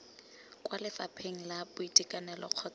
kwa lefapheng la boitekanelo kgotsa